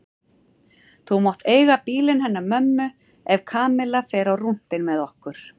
Þú mátt eiga bílinn hennar mömmu ef Kamilla fer á rúntinn með okkur